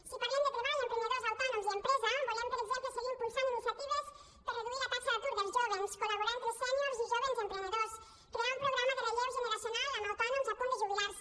si parlem de treball emprenedors autònoms i empresa volem per exemple seguir impulsant iniciatives per a reduir la taxa d’atur dels jóvens col·laborar entre sèniors i jóvens emprenedors crear un programa de relleu generacional amb autònoms a punt de jubilar se